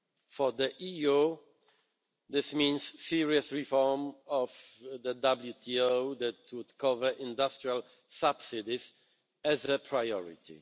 For the EU, this means serious reform of the WTO that would cover industrial subsidies, as a priority.